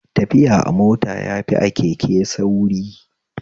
Tafiya a mota yafi a keke sauri